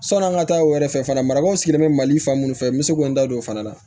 Sɔni an ka taa o yɛrɛ fɛ fana marabaw sigilen bɛ mali fan minnu fɛ n bɛ se k'o n da don o fana na